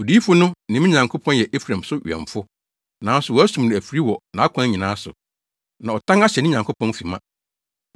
Odiyifo no ne me Nyankopɔn yɛ Efraim so wɛmfo, nanso wɔasum no afiri wɔ nʼakwan nyinaa so, na ɔtan ahyɛ ne Nyankopɔn fi ma.